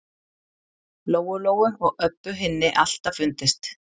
Lóu-Lóu og Öbbu hinni alltaf fundist.